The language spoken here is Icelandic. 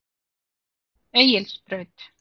Egilsbraut